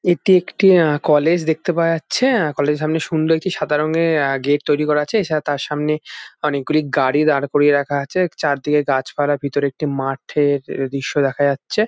এটি একটি আ-কলেজ দেখতে পাওয়া যাচ্ছে আ-কলেজ -এর সামনে সুন্দর একটি সাদা রঙের আ- গেট তৈরী করা আছে এছাড়া তার সামনে অনেক গুলি গাড়ি দাঁড় করিয়ে রাখা আছে চার দিকে গাছপালা ভিতরে একটি মাঠের দৃশ্য দেখা যাচ্ছে।